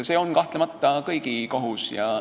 See on kahtlemata kõigi kohus.